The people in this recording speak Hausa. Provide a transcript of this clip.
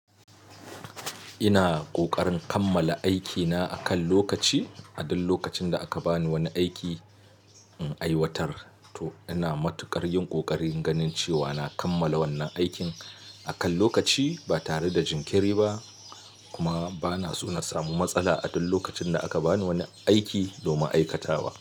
Ina ƙoƙarin kammala aikina akan lokaci. A duk lokacin da aka ba ni wani aiki in aiwatar to ina matuƙar yin ƙoƙarin ganin cewa na kammala wannan aikin akan lokaci ba tare da jinkiri ba. Kuma bana so na samu matsala a duk lokacin da aka ba ni wani aiki domin aikatawa.